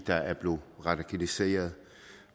der er blevet radikaliseret